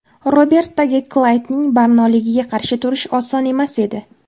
Robertaga Klaydning barnoligiga qarshi turish oson emas edi.